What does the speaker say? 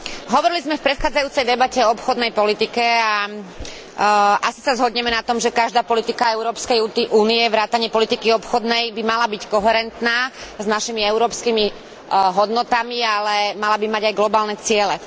Hovorili sme v predchádzajúcej debate o obchodnej politike a asi sa zhodneme na tom, že každá politika Európskej únie vrátane politiky obchodnej by mala byť koherentná s našimi európskymi hodnotami, ale mala by mať aj globálne ciele.